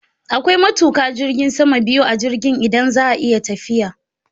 Akwai matuƙa jirgin sama biyu a jirgin idan za a yi tafiya